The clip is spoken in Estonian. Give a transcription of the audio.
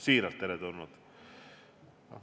Ütlen seda siiralt.